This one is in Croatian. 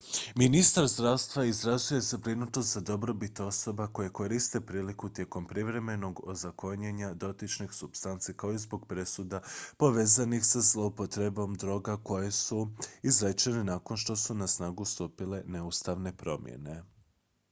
ministar zdravstva izrazio je zabrinutost za dobrobit osoba koje koriste priliku tijekom privremenog ozakonjenja dotičnih supstanci kao i zbog presuda povezanih sa zlouporabom droga koje su izrečene nakon što su na snagu stupile neustavne promjene